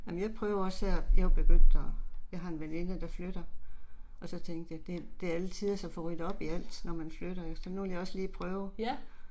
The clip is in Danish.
Amen jeg prøver også her, jeg er jo begyndt og, jeg har en veninde der flytter. Og så tænkte jeg det det er alletiders at få ryddet op i alt når man flytter, så nu har jeg også lige prøvet